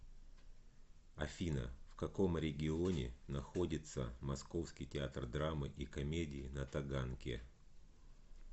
афина в каком регионе находится московский театр драмы и комедии на таганке